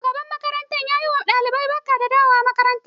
Shugaban makaranta na yi ma ɗalibai barka da dawowa makaranta